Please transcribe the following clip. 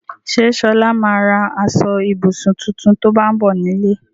Ṣé Ṣọlá ma ra aṣọ-ìbùsùn tuntun tó bá ń bọ̀ nílé?